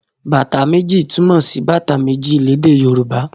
Bàtá méjì' túmọ̀ sí bàtà méjì lédè Yorùbá.